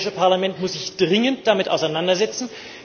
Das Europäische Parlament muss sich dringend damit auseinandersetzen.